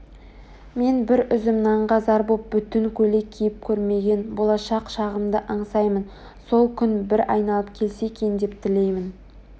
мен бір үзім нанға зар боп бүтін көйлек киіп көрмеген болашақ шағымды аңсаймын сол күн бір айналып келсе екен деп тілеймін